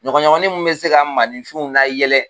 Ɲɔgɔnɲɔgɔnnin min bɛ se ka maaninfinw layɛlɛ